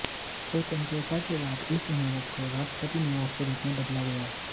स्वतंत्रता के बाद इस इमारत को राष्ट्रपति निवास के रूप में बदला गया